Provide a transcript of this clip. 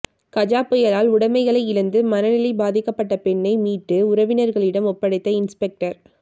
கஜா புயலால் உடமைகளை இழந்து மனநிலை பாதிக்கப்பட்ட பெண்ணை மீட்டு உறவினர்களிடம் ஒப்படைத்த இன்ஸ்பெக்டர்